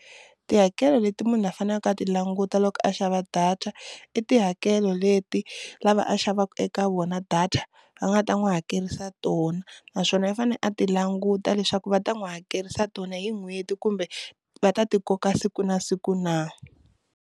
Tihakelo leti munhu a faneleke a ti languta loko a xava data i tihakelo leti lava a xavaku eka vona data va nga ta n'wi hakelisa tona, naswona i fanele a ti languta leswaku va ta n'wi hakerisa tona hi n'hweti kumbe va ta ti koka siku na siku na.